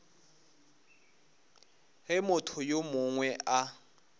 ge motho yo mongwe a